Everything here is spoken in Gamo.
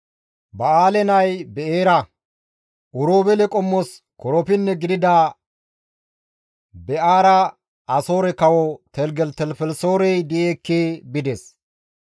Ba7aale nay Be7eera. Oroobeele qommos korapinne gidida Be7eera Asoore Kawo Teligelitelifelisoorey di7i ekki bides.